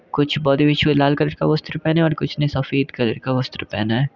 कुछ लाल कलर का वस्त्र पहना है और कुछ ने सफेद कलर का वस्त्र पहना है।